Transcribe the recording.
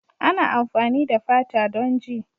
Ana amfani da fata don ji.